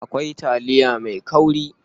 Akwai taliya mai kauri.